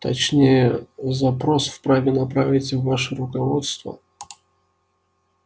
точнее запрос вправе направить ваше руководство